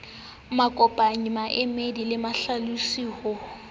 makopanyi maemedi le mahlalosi ho